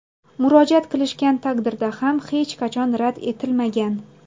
Murojaat qilishgan taqdirda ham hech qachon rad etilmagan.